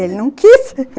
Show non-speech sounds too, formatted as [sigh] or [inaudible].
Ele não quis [laughs]